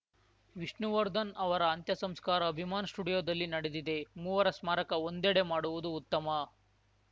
ವಿಷ್ಣುವರ್ಧನ್‌ ಅವರ ಅಂತ್ಯ ಸಂಸ್ಕಾರ ಅಭಿಮಾನ್‌ ಸ್ಟುಡಿಯೋದಲ್ಲಿ ನಡೆದಿದೆ ಮೂವರ ಸ್ಮಾರಕ ಒಂದೆಡೆ ಮಾಡುವುದು ಉತ್ತಮ